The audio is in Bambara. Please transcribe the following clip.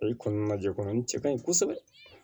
Ayi kɔnɔnajɛ kɔnɔ n cɛ ka ɲi kosɛbɛ